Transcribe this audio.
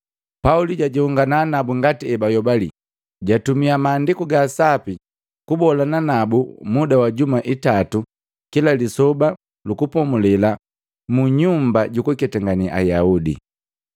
Pauli jajongana nabu ngati ebayobali, jatumia Maandiku ga Sapi kubolana nabu muda wa juma itatu kila Lisoba lu Kupomulela munyumba jukuketangane Ayaudi.